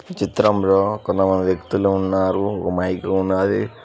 చిత్రంలో కొంతమంది వ్యక్తులు ఉన్నారు మైకులు ఉన్నది.